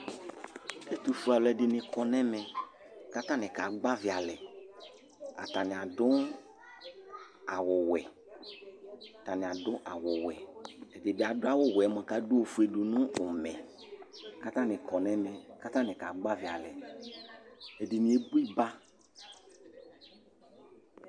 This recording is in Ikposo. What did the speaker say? Ɛtʋ fue alʋ ɛdɩnɩ kɔ nɛmɛ ,katanɩ ka gbavɩ alɛAtanɩ adʋ awʋ wɛ, ɛdɩ bɩ adʋ awʋ wɛ yɛ mʋa, k' adʋ ofue dʋ nʋ ʋmɛK' atanɩ kɔ nɛmɛ ,k 'atanɩ ka gbavɩ alɛ; ɛdɩnɩ ebo ɩpaa